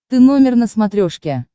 ты номер на смотрешке